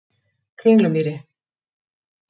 Kringlumýri